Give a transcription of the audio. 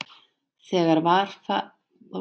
Þegar farið var af stað.